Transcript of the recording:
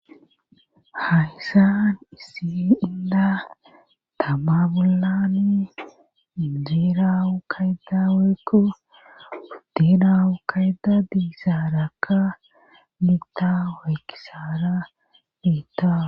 Hayssan isi inda tama bollani mijirawu kaydaweekko wuddinawu kayda diissaarakka miigda waykisara beitta